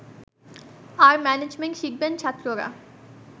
আর management শিখবেন ছাত্ররা